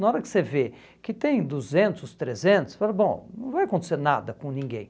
Na hora que você vê que tem duzentos, trezentos, você fala, bom, não vai acontecer nada com ninguém.